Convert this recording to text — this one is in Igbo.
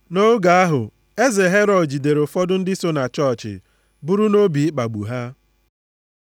Nʼoge ahụ, eze Herọd jidere ụfọdụ ndị so na chọọchị buru nʼobi ịkpagbu ha.